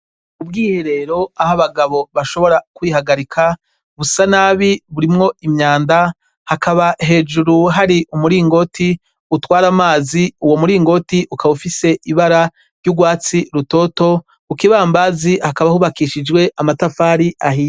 Ubwiherero aho Abagabo bashobora kwihagarika busa nabi burimwo imyanda hakaba hejuru hari umuringoti utwara amazi uwo muringoti ukaba ufise ibara ry'urwatsi rutoto kukibambasi hakaba hubakishijwe amatafari ahiye .